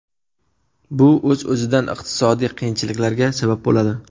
Bu o‘z o‘zidan iqtisodiy qiyinchiliklarga sabab bo‘ladi.